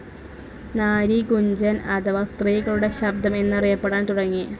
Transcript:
നാരി ഗുഞ്ചൻ അഥവ സ്ത്രീകളുടെ ശബ്ദം എന്നറിയപ്പെടാൻ തുടങ്ങി.